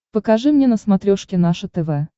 покажи мне на смотрешке наше тв